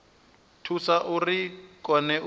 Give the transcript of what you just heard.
thusa uri vha kone u